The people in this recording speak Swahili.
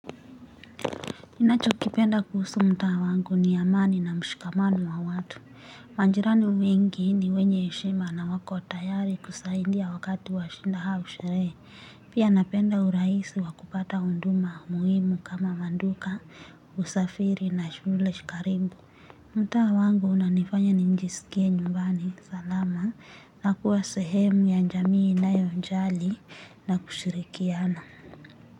Ninachokipenda kuhusu mtaa wangu ni amani na mshikamano wa watu. Majirani wengi ni wenye heshima na wako tayari kusahindia wakati wa shinda au sheree. Pia napenda uraisi wa kupata huduma muhimu kama manduka, usafiri na shule shi karimbu. Mtaa wangu unanifanya nijisikie nyumbani salama na kuwa sehemu ya njamii nayonjali na kushirikiana.